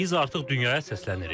Biz artıq dünyaya səslənirik.